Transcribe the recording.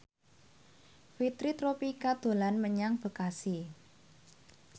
Fitri Tropika dolan menyang Bekasi